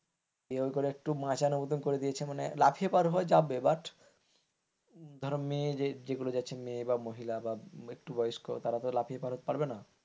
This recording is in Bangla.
দিয়ে ওই করে একটু মাঁচার মত করে দিয়েছে মানে লাফিয়ে পার করা যাবে but ধরো যে মেয়েগুলো যাচ্ছে মেয়ে বা মহিলা বা একটু বয়স্ক তারা লাফিয়ে পারবে না,